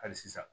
Hali sisan